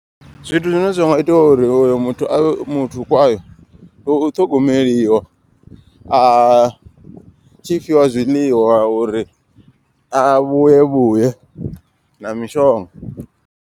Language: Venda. Zwithu zwine zwa nga itiwa uri uyo muthu avhe muthu kwayo. Ndi u ṱhogomeliwa a tshi fhiwa zwiḽiwa uri a vhuye vhuye na mishonga.